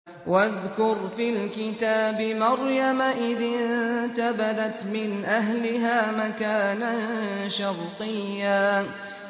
وَاذْكُرْ فِي الْكِتَابِ مَرْيَمَ إِذِ انتَبَذَتْ مِنْ أَهْلِهَا مَكَانًا شَرْقِيًّا